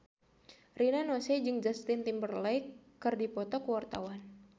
Rina Nose jeung Justin Timberlake keur dipoto ku wartawan